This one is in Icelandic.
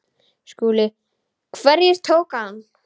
SKÚLI: Hverjir tóku hann?